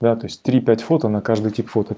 да то есть три пять фото на каждое тип фото